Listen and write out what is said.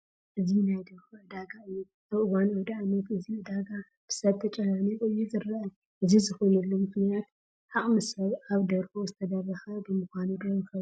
እዚ ናይ ደርሆ ዕዳጋ እዩ፡፡ ኣብ እዋን ኣውደ ዓመት እዚ ዕዳጋ ብሰብ ተጨናኒቑ እዩ ዝርአ፡፡ እዚ ዝኾነሉ ምኽንያት ዓቕሚ ሰብ ኣብ ደርሖ ዝተደረተ ብምዃኑ ዶ ይኸውን?